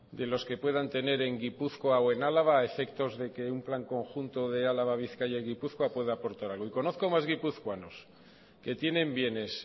de los que puedan tener en gipuzkoa o en álava a efectos de que un plan conjunto de álava bizkaia y gipuzkoa pueda aportar algo y conozco más guipuzcoanos que tienen bienes